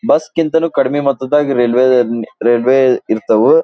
Bus ಗಿಂತನೂ ಕಡಿಮೆ ಮೊತ್ತದಾಗ ರೈಲ್ವೆ ರೈಲ್ವೆ ಇರ್ತಾವು.